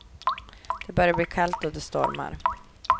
Det börjar bli kallt och det stormar.